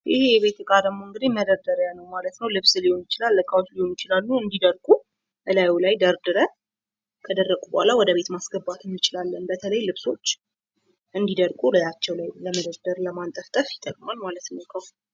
ይህ የቤት እቃ ደግሞ እንግዲህ መደርደሪያ ነው። ልብስ ሊሆን ይችላል የተለያዩ እቃዎች ሊሆኑ ይችላሉ እንድደርቁ እላዩ ላይ ደርድረን ከደረቁ በኋላ ወደ ቤት ማስገባት እንችላለን። በተለይ ልብሶች እንድደርቁ እላያቸው ላይ ለመደርደር ለመንጠልጠል ይጠቅማል ማለት ነው።